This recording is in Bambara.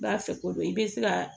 I b'a fɛko i bɛ se ka